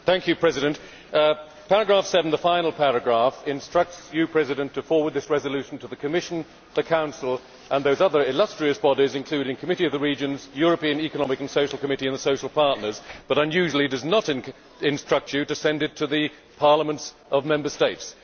Mr President, paragraph 7 the final paragraph instructs you to forward this resolution to the Commission, the Council and those other illustrious bodies, including the Committee of the Regions and the European Economic and Social Committee, and the social partners but, unusually, does not instruct you to send it to the parliaments of Member States.